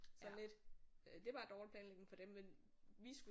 Sådan lidt det er bare dårlig planlægning for dem men vi skulle